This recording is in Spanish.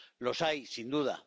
Los hay, sin duda.